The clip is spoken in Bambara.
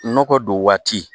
Nɔgɔ don waati